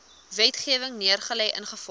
wetgewing neergelê ingevolge